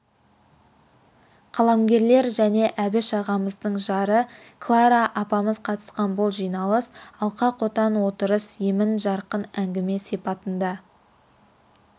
қаламгерлер және әбіш ағамыздың жары клара апамыз қатысқан бұл жиналыс алқа-қотан отырыс емен-жарқын әңгіме сипатында